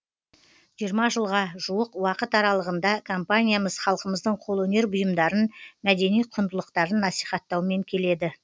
жиырма жылға жуық уақыт аралығында компаниямыз халқымыздың қолөнер бұйымдарын мәдени құндылықтарын насихаттаумен келеді